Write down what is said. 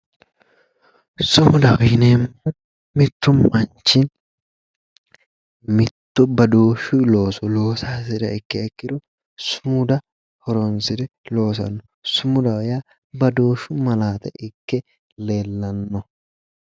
Sumudaho yineemohu mittu manichi mittu badooshu loooso loosa hasiriha ikkiha ikkiro sumuda horonisire loosano sumudaho yaa badooshu malaate ikke leelanno